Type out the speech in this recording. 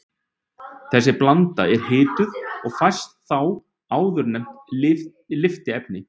Þessi blanda er hituð og fæst þá áðurnefnt lyftiefni.